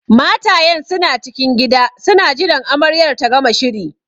Matayen suna cikin gida suna jiran amaryar ta gama shiri